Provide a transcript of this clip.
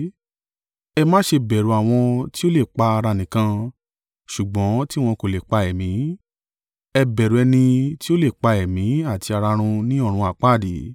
Ẹ má ṣe bẹ̀rù àwọn tí ó le pa ara nìkan; ṣùgbọ́n tí wọn kò lè pa ẹ̀mí. Ẹ bẹ̀rù Ẹni tí ó le pa ẹ̀mí àti ara run ní ọ̀run àpáàdì.